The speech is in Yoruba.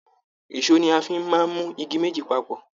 Èsó ní a fí máa n mú igi méjì papọ.